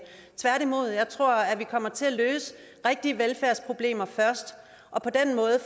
tværtimod tror jeg at vi kommer til at løse rigtige velfærdsproblemer først og